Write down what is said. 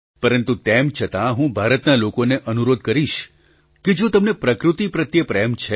પ્રધાનમંત્રી પરંતુ તેમ છતાં હું ભારતના લોકોને અનુરોધ કરીશ કે જો તમને પ્રકૃતિ પ્રત્યે પ્રેમ છે